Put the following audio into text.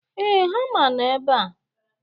Ee, hama nọ ebe a